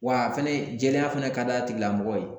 Wa fɛnɛ jɛlenya fana ka d'a tigilamɔgɔw ye